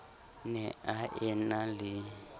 ne a e na le